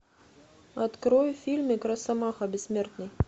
открой фильмик росомаха бессмертный